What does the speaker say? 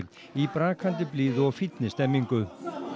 í brakandi blíðu og fínni stemningu